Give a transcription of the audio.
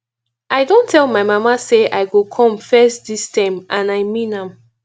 i don tell my mama say i go come first dis term and i mean am